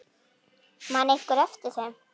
Man einhver eftir þeim?